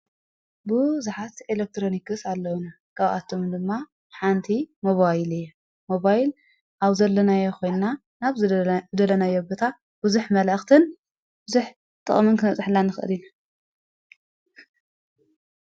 ብዙኃት ኤለክትሮኒክስ ኣለዉነ ቀብኣቶም ድማ ሓንቲ ሞባይል እየ ሞባይል ኣብ ዘለናዮኾንና ናብ ዝደለናዮኣብታ ብዙኅ መልእኽትን ብዙኅ ጠቕምንክ ክነብፀሀላ ንክእል አና ::